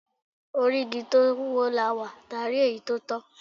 Orí igi tó wọ́, làá wà, táà rí èyí tó tọ́.